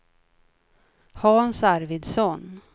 Hans Arvidsson